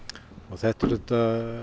þetta er auðvitað